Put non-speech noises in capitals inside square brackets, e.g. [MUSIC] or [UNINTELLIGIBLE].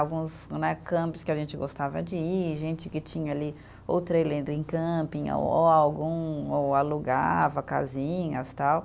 Alguns né, [UNINTELLIGIBLE] que a gente gostava de ir, gente que tinha ali ou trailer em camping, ou algum, ou alugava casinhas e tal.